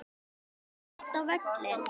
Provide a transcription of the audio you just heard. Farið þið oft á völlinn?